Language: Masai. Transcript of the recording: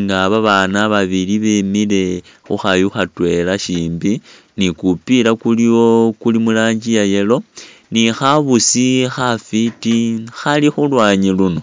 nga babaana babili bemile khukhayu khatwela shimbi ni'kupila kuliwo kuli murangi iya'yellow ni'khabusi khafiti Khali khulwanyi luuno